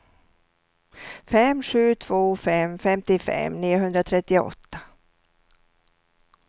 fem sju två fem femtiofem niohundratrettioåtta